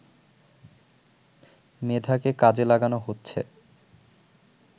মেধাকে কাজে লাগানো হচ্ছে